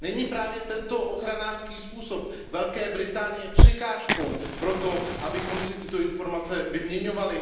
Není právě tento ochranářský způsob Velké Británie překážkou pro to, abychom si tyto informace vyměňovali?